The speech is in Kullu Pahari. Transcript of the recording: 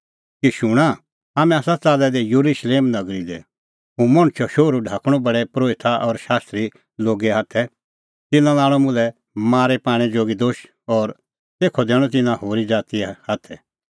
शूणां हाम्हैं आसा च़ाल्लै दै येरुशलेम नगरी लै हुंह मणछो शोहरू ढाकणअ प्रधान परोहित और शास्त्री लोगे हाथै तिन्नां लाणअ मुल्है मारी पाणै जोगी दोश और तेखअ दैणअ तिन्नां होरी ज़ातीए हाथै